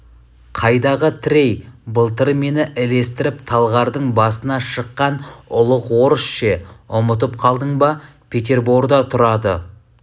қайдағы трей былтыр мені ілестіріп талғардың басына шыққан ұлық орыс ше ұмытып қалдың ба петерборда тұрады